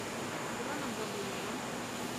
дроном бобылевым